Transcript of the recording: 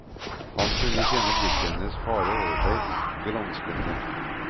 Han kunne kjenne blikket hennes fare over seg, granskende.